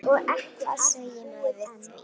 Hvað segir maður við því?